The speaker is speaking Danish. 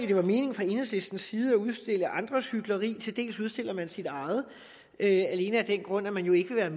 det var meningen fra enhedslistens side at udstille andres hykleri til dels udstiller man sit eget alene af den grund at man jo ikke vil